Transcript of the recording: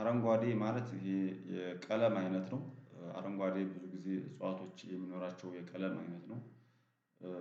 አረንጓዴ ማለት የቀለም አይነት ነው አረንጓዴ ብዙ ጊዜ እጽዋቶች የሚኖራቸው የቀለም አይነት ነው።